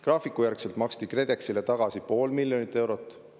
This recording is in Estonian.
Graafikujärgselt maksti KredExile tagasi pool miljonit eurot.